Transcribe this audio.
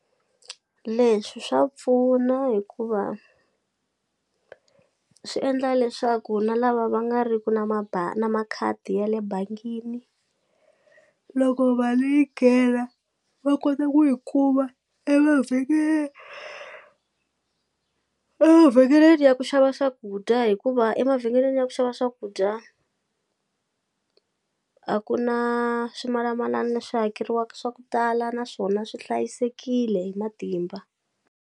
Leswi swa pfuna hikuva swi endla leswaku na lava va nga ri ku na na makhadi ya le bangini loko mali yi nghena va kota ku yi kuma emavhengeleni emavhengeleni ya ku xava swakudya hikuva emavhengeleni ya ku xava swakudya a ku na swimalamalani leswi hakeriwaka swa ku tala naswona swi hlayisekile hi matimba.